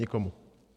Nikomu.